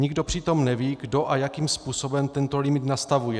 Nikdo přitom neví, kdo a jakým způsobem tento limit nastavuje.